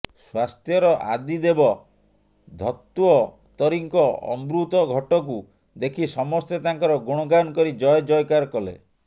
ସ୍ୱାସ୍ଥ୍ୟର ଆଦିଦେବ ଧତ୍ତ୍ୱତରୀଙ୍କ ଅମୃତ ଘଟକୁ ଦେଖି ସମସ୍ତେ ତାଙ୍କର ଗୁଣଗାନ କରି ଜୟ ଜୟକାର କଲେ